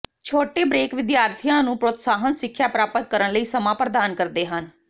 ਛੋਟੇ ਬ੍ਰੇਕ ਵਿਦਿਆਰਥੀਆਂ ਨੂੰ ਪ੍ਰੋਤਸਾਹਨ ਸਿੱਖਿਆ ਪ੍ਰਾਪਤ ਕਰਨ ਲਈ ਸਮਾਂ ਪ੍ਰਦਾਨ ਕਰਦੇ ਹਨ